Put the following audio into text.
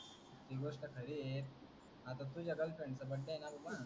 हि गोष्ट खरी आहे आता तुझ्या गर्लफ्रेंडचा बर्थडे आहे ना बाबा.